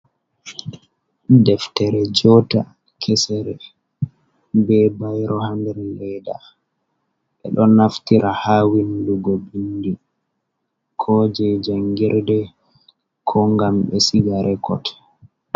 Deftere joota, kesere be bayro haa nder leeda. Ɓe ɗon naftira haa windugo bindi, ko je janngirde, ko ngam ɓe siga rekot.